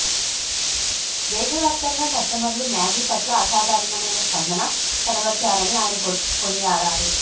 దేశ వ్యాప్తంగా కస్టమర్లు మ్యాగీ పట్ల అసాధారణమైన స్పందన కనబర్చారని ఆయన కొనియాడారు